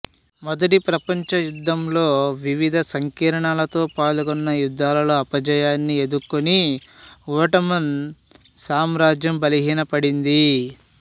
మొదటి ప్రపంచ యుద్ధంలో వివిధ సంకీర్ణాలతో పాల్గొన్న యుద్ధాలలో అపజయాన్ని ఎదుకొని ఓట్టమన్ సామ్రాజ్యం బలహీనపడింది